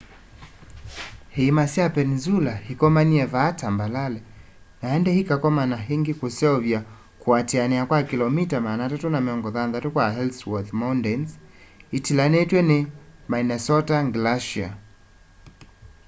iima sya peninsula ikomanie vaa tambalale na indi ikakomana ingi kuseuvya kuatiania kwa kilomita 360 kwa ellsworth mountains itilanitw'e ni minnesota glacier